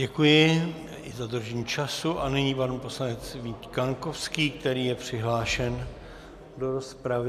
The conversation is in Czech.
Děkuji i za dodržení času a nyní pan poslanec Vít Kaňkovský, který je přihlášen do rozpravy.